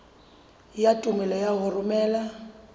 ya tumello ya ho romela